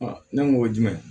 ne ko o ye jumɛn ye